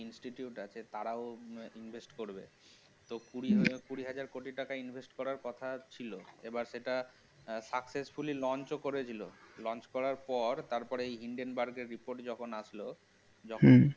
Institute তারাও invest করবে তো কুড়ি হাজার কোটি টাকা invest করার কথা ছিল এবার সেটা successfully launch ও করে দিল launch করার পর তারপর indian বার্গের report যখন আসলো যখন হম